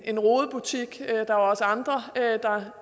en rodebutik der er også andre der